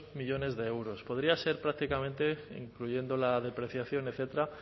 millónes de euros podría ser prácticamente incluyendo la depreciación etcétera